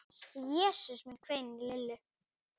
Jesús minn hvein í Lillu.